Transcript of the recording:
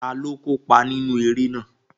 Taló kópa nínú eré náà?